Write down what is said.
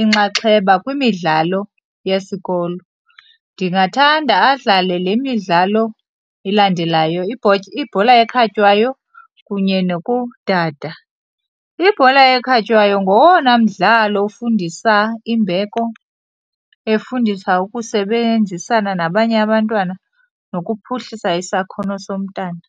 inxaxheba kwimidlalo yesikolo. Ndingathanda adlale le midlalo ilandelayo, ibhola ekhatywayo kunye nokudada. Ibhola ekhatywayo ngowona mdlalo ufundisa imbeko, efundisa ukusebenzisana nabanye abantwana nokuphuhlisa isakhono somntana.